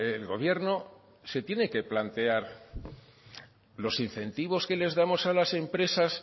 el gobierno se tiene que plantear los incentivos que les damos a las empresas